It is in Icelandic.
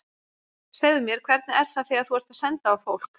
Segðu mér, hvernig er það þegar þú ert að senda á fólk.